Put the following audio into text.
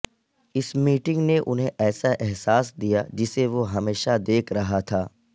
اس meeting نے انہیں ایسا احساس دیا جسے وہ ہمیشہ دیکھ رہا تھا